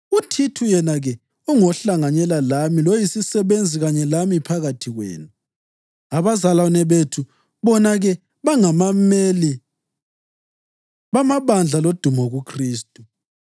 UThithu yena-ke ungohlanganyela lami loyisisebenzi kanye lami phakathi kwenu; abazalwane bethu bona-ke bangabameli bamabandla lodumo kuKhristu.